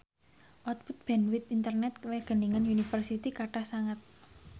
output bandwith internet Wageningen University kathah sanget